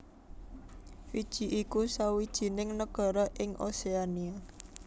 Fiji iku sawijining nagara ing Oséania